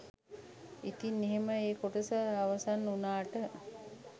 ඉතින් එහෙම ඒ කොටස අවසන් උනාට